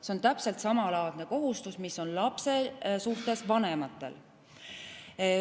See on täpselt samalaadne kohustus, mis on lapse suhtes vanematel.